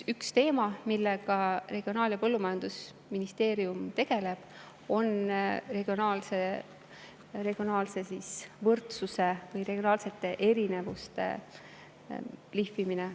Üks teema, millega Regionaal- ja Põllumajandusministeerium tegeleb, on regionaalsete erinevuste lihvimine.